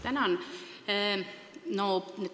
Tänan!